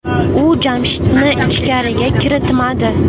U Jamshidni ichkariga kiritmadi.